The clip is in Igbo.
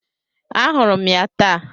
Ahụrụ m ya taa.